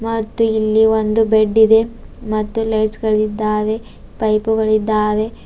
ಮತ್ತು ಇಲ್ಲಿ ಒಂದು ಬೆಡ್ ಇದೆ ಮತ್ತು ಲೈಟ್ಸ್ ಗಳಿದ್ದಾವೆ ಮತ್ತು ಪೈಪು ಗಳಿದ್ದವೆ.